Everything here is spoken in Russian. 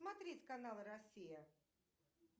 смотреть канал россия